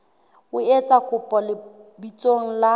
o etsa kopo lebitsong la